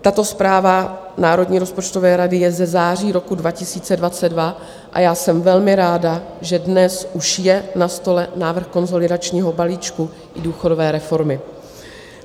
Tato zpráva Národní rozpočtové rady je ze září roku 2022 a já jsem velmi ráda, že dnes už je na stole návrh konsolidačního balíčku i důchodové reformy.